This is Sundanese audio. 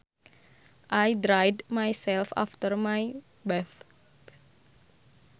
I dried myself after my bath